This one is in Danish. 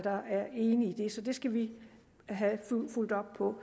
i enige i så det skal vi have fulgt op på